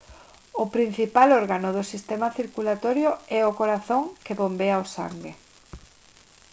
o principal órgano do sistema circulatorio é o corazón que bombea o sangue